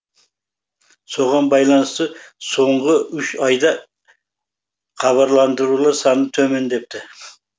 соған байланысты соңғы үш айда хабарландырулар саны төмендепті